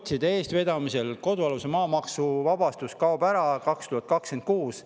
Sotside eestvedamisel kodualuse maa maksuvabastus kaob ära 2026.